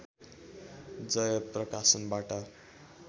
जय प्रकाशनबाट